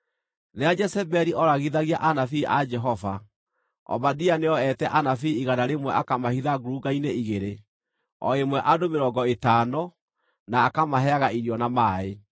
Rĩrĩa Jezebeli ooragithagia anabii a Jehova, Obadia nĩoete anabii igana rĩmwe akamahitha ngurunga-inĩ igĩrĩ, o ĩmwe andũ mĩrongo ĩtano, na akamaheaga irio na maaĩ.)